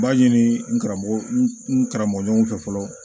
N b'a ɲini n karamɔgɔ n karamɔgɔ ɲɔgɔn fɛ fɔlɔ